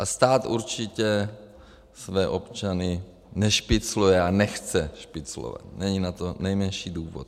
A stát určitě své občany nešpicluje a nechce špiclovat, není na to nejmenší důvod.